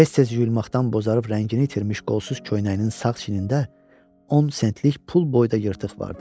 Tez-tez yuyulmaqdan bozarıb rəngini itirmiş qolsuz köynəyinin sağ çiyinində 10 sentlik pul boyda yırtıq vardı.